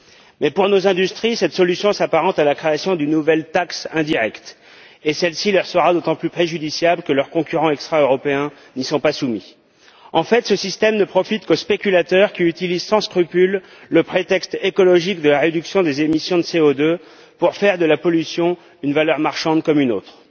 Mais pour nos industries, cette solution s'apparente à la création d'une nouvelle taxe indirecte et celle ci leur sera d'autant plus préjudiciable que leurs concurrents extra européens n'y sont pas soumis. Ce système, en fait, ne profite qu'aux spéculateurs, qui utilisent sans scrupule le prétexte écologique de la réduction des émissions de CO2 pour faire de la pollution une valeur marchande comme une autre.